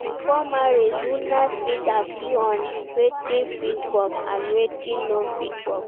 Before marriage una fit agree on wetin fit work and wetin no fit work